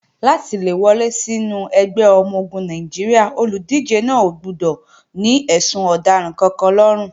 Láti le wọlé sínú ẹgbẹ́ ọmọ-ogun Nàìjíríà, olùdíje náà ò gbọdọ̀ ní ẹ̀sùn ọ̀daràn kankan lọ́rùn.